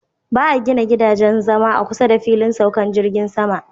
Ba 'a gina gidajen zama a kusa da filin saukan jirgin sama.